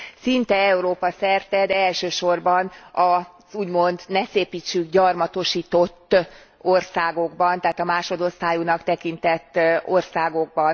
Szinte Európa szerte, de elsősorban az úgymond ne szépítsük gyarmatosított országokban, tehát a másodosztályúnak tekintett országokban.